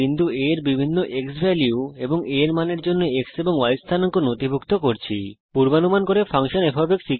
বিন্দু A এর বিভিন্ন ক্সভ্যালিউ এবং a এর মানের জন্য x এবং y স্থানাঙ্ক নথিভুক্ত করতে রেকর্ড টো স্প্রেডশীট বিকল্পটি ব্যবহার করছি